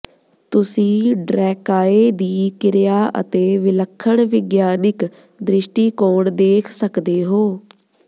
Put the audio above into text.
ਤੁਸੀਂ ਡਰੈਕਾਏ ਦੀ ਕਿਰਿਆ ਅਤੇ ਵਿਲੱਖਣ ਵਿਗਿਆਨਿਕ ਦ੍ਰਿਸ਼ਟੀਕੋਣ ਦੇਖ ਸਕਦੇ ਹੋ